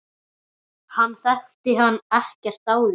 Hann þekkti hann ekkert áður.